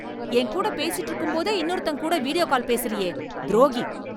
என் கூட பேசிட்டு இருக்கும்போதே இன்னொருத்தன் கூட வீடியோ கால் பேசுறியே, துரோகி.